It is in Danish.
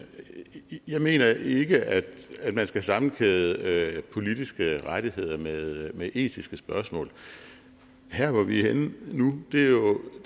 jeg mener ikke at at man skal sammenkæde politiske rettigheder med etiske spørgsmål her hvor vi er henne nu